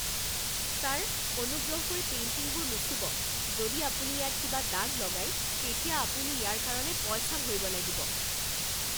Sir, অনুগ্ৰহ কৰি পেইণ্টিংবোৰ নুচুব! যদি আপুনি ইয়াত কিবা দাগ লগায়, তেতিয়া আপুনি ইয়াৰ কাৰণে পইচা ভৰিব লাগিব।